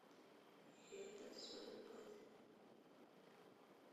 это все любовь